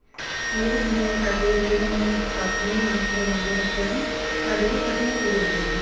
school ਜਿਵੇਂ ਸਾਡੇ ਉਰੇ ਤਾਂ ਹੁਣ ਕਾਪੀਆਂ ਹੀ ਨਾਸ ਮਰਵਾਉਂਦੇ ਬੱਚਿਆਂ ਤੋਂ ਸਾਡੇ ਚ ਫੱਟੀਆਂ ਲਿਖਦੇ ਹੁੰਦੇ ਸੀ